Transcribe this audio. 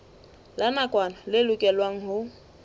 la nakwana le lokelwang ho